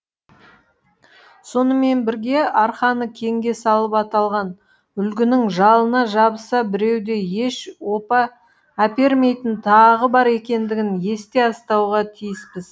сонымен бірге арқаны кеңге салып аталған үлгінің жалына жабыса беруде еш опа әпермейтіні тағы бар екендігін есте ұстауға тиіспіз